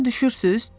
Başa düşürsüz?